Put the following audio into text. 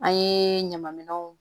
An ye ɲaman minɛnw